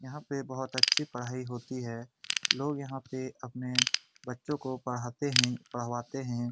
यहां पे बहुत अच्छी पढ़ाई होती है लोग यहां पे अपने बच्चों को पढ़ाते हैं पढ़वाते है।